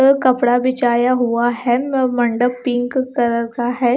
वे कपड़ा बिछाया हुआ है मैं मंडप पिंक कलर का है।